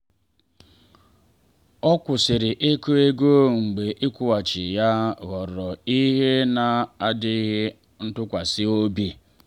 ọ kwụsịrị ịkụ ego mgbe ịkwụghachi ya ghọrọ ihe na adịghị ntụkwasị obi.